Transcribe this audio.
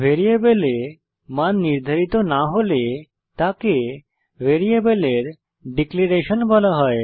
ভ্যারিয়েবলে মান নির্ধারিত না হলে তাকে ভ্যারিয়েবলের ডিক্লেরেশন বলা হয়